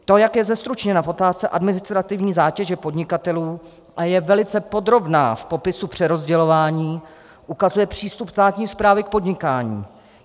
To, jak je zestručněna v otázce administrativní zátěže podnikatelů a je velice podrobná v popisu přerozdělování, ukazuje přístup státní správy k podnikání.